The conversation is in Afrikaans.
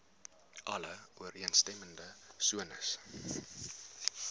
alle ooreenstemmende sones